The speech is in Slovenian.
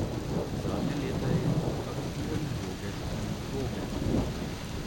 Zadnja leta je aktiven bloger in vloger.